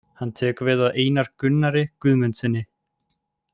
Hann tekur við af Einar Gunnari Guðmundssyni.